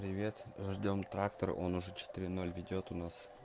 привет ждём трактор он уже четыре ноль ведёт у нас